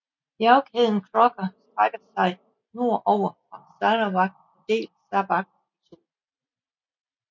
Bjergkæden Crocker strækker sig nord over fra Sarawak og deler Sabah i to